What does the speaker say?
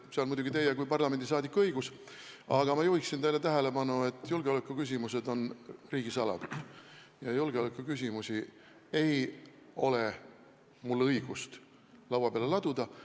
See on muidugi teie kui parlamendiliikme õigus, aga ma juhiksin teie tähelepanu sellele, et julgeolekuküsimused on riigisaladus ja neid ei ole mul õigust laua peale laduda.